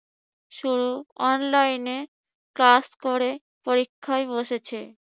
শুধু online এ class করে পরীক্ষায় বসেছে।